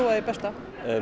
það besta